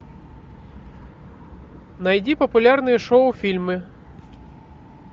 найди популярные шоу фильмы